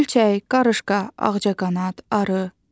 Milçək, qarışqa, ağcaqanad, arı.